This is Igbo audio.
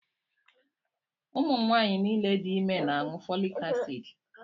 Ụmụ nwaanyị niile dị ime na-aṅụ folik acid.